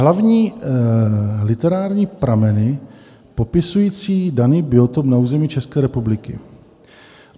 Hlavní literární prameny popisující daný biotop na území České republiky.